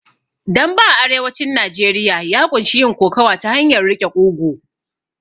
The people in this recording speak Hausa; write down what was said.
Dambe a arewacin Najeriya ya ƙunshi yin kokowa ta hanyar riƙe ƙugu